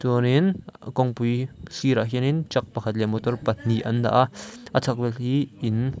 chuanin kawng pui sirah khianin truck pakhat leh motor pahnih an dah a a chhak vel khi in--